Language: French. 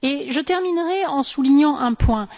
Je terminerais en soulignant un point.